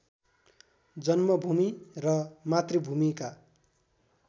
जन्मभूमि र मातृभूमिका